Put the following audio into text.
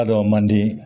A dɔ man di